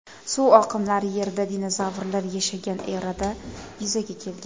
Suv oqimlari Yerda dinozavrlar yashagan erada yuzaga kelgan.